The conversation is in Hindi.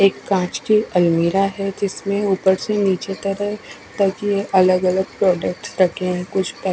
एक कांच की अलमीरा है जिसमे ऊपर से निचे तक अलग अलग प्रोडक्ट्स रखे है कुछ पे--